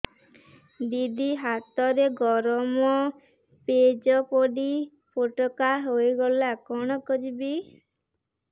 ଦିଦି ହାତରେ ଗରମ ପେଜ ପଡି ଫୋଟକା ହୋଇଗଲା କଣ କରିବି